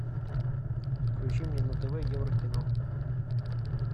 включи мне на тв евро кино